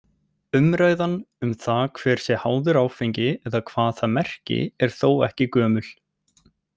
Umræðan um það hver sé háður áfengi eða hvað það merki er þó ekki gömul.